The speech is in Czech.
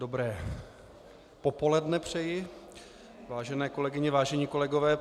Dobré popoledne přeji, vážené kolegyně, vážení kolegové.